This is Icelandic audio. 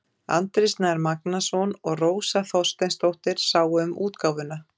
Andri Snær Magnason og Rósa Þorsteinsdóttir sáu um útgáfuna.